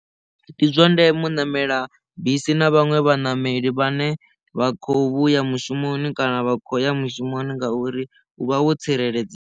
Ndi zwa ndeme u ṋamela bisi na vhaṅwe vhaṋameli vhane vha kho vhuya mushumoni kana vha khou ya mushumoni ngauri u vha wo tsireledzea.